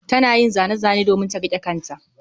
Tana yin zane-zane domin ta riƙe ƙanta